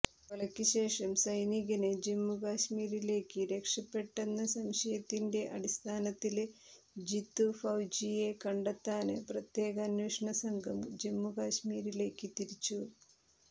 കൊലക്ക് ശേഷം സൈനികന് ജമ്മുകാശ്മീരിലേക്ക് രക്ഷപ്പെട്ടെന്ന സംശയത്തിന്റെ അടിസ്ഥാനത്തില് ജിത്തു ഫൌജിയെ കണ്ടെത്താന് പ്രത്യേക അന്വേഷണസംഘം ജമ്മുകാശ്മീരിലേക്ക് തിരിച്ചു